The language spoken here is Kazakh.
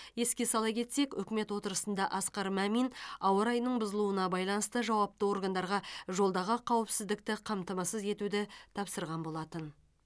еске сала кетсек үкімет отырысында асқар мамин ауа райының бұзылуына байланысты жауапты органдарға жолдағы қауіпсіздікті қамтамасыз етуді тапсырған болатын